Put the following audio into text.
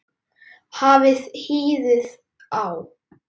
Hafið hýðið á.